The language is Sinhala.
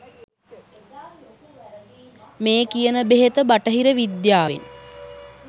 මේ කියන බෙහෙත බටහිර විද්‍යාවෙන්